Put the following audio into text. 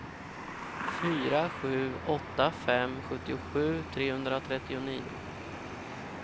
fyra sju åtta fem sjuttiosju trehundratrettionio